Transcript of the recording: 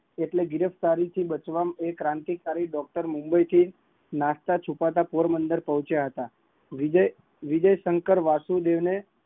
British સરકાર સામે આંદોલન, આંદોલન કર્યા આરોગ્ય ઓફિસર અને તેમના સાથિદાર ના નામે મુંબઈ માં જારી થયું હતું